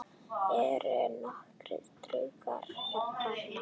Eru nokkrir draugar þarna?